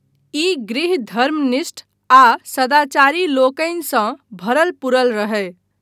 ई गृह धर्मनिष्ठ आ सदाचारी लोकनिसँ भरल पूरल रहय।